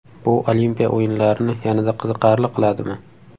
Bu Olimpiya o‘yinlarini yanada qiziqarli qiladimi?